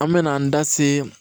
An mɛna an da se